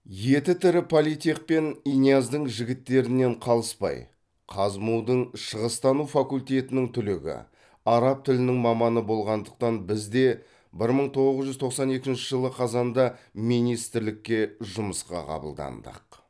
еті тірі политех пен иняздың жігіттерінен қалыспай қазму дың шығыстану факультетінің түлегі араб тілінің маманы болғандықтан біз де бір мың тоғыз жүз тоқсан екінші жылы қазанда министрлікке жұмысқа қабылдандық